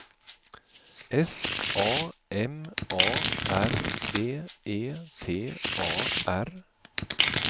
S A M A R B E T A R